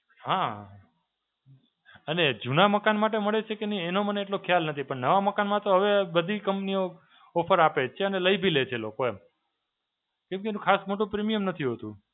હાં, અને જૂના મકાન માટે મળે છે કે નહીં એનો મને એટલો ખ્યાલ નથી. પણ નવા મકાનમાં તો હવે બધી company ઓ offer આપે જ છે અને લઈ બી લે છે લોકો એમ. કોઈ કોઈ નું ખાસમાં તો premium નથી હોતું.